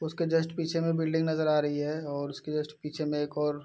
उसके जस्ट पीछे में बिल्डिंग नज़र आ रही है और उसके जस्ट पीछे में एक और --